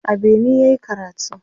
a Benin yayi karatu